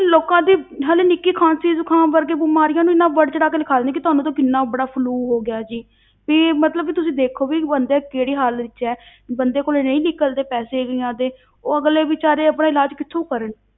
ਲੋਕਾਂ ਦੀ ਹਾਲੇ ਨਿੱਕੀ ਖ਼ਾਂਸੀ ਜੁਕਾਮ ਵਰਗੇ ਬਿਮਾਰੀਆਂ ਨੂੰ ਇੰਨਾ ਬੜ ਚੜਾ ਕੇ ਲਿਖਾ ਦਿੰਦੇ ਨੇ ਕਿ ਤੁਹਾਨੂੰ ਤਾਂ ਕਿੰਨਾ ਬੜਾ flu ਹੋ ਗਿਆ ਜੀ ਕਿ ਮਤਲਬ ਕਿ ਤੁਸੀਂ ਦੇਖੋ ਵੀ ਬੰਦਾ ਕਿਹੜੀ ਹਾਲਤ ਵਿੱਚ ਹੈ ਬੰਦੇ ਕੋਲੇ ਨਹੀਂ ਨਿਕਲਦੇ ਪੈਸੇ ਕਈਆਂ ਦੇ, ਉਹ ਅਗਲੇ ਬੇਚਾਰੇ ਆਪਣਾ ਇਲਾਜ਼ ਕਿੱਥੋਂ ਕਰਨ।